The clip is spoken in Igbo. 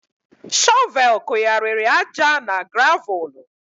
Shọvel kugharịrị aja na gravụlụ.